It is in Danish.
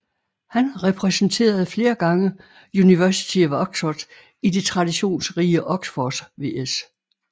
Han repræsenterede flere gange University of Oxford i det traditionsrige Oxford vs